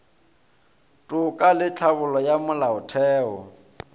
toka le tlhabollo ya molaotheo